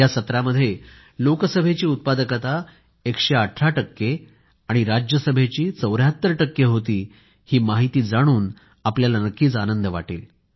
या सत्रामध्ये लोकसभेची उत्पादकता 118 टक्के आणि राज्यसभेची 74 टक्के होती ही माहिती जाणून आपल्याला नक्कीच आनंद वाटेल